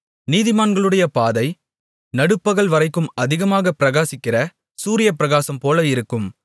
நீதிமான்களுடைய பாதை நடுப்பகல்வரைக்கும் அதிகமதிகமாகப் பிரகாசிக்கிற சூரியப்பிரகாசம்போல இருக்கும்